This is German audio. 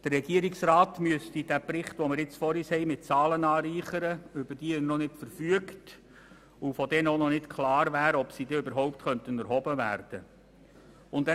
Der Regierungsrat müsste den Bericht mit Zahlen anreichern, über die er noch nicht verfügt, und von denen auch noch nicht klar wäre, ob sie überhaupt erhoben werden könnten.